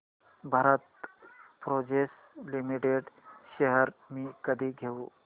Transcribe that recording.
Bharat forge limited shares मी कधी घेऊ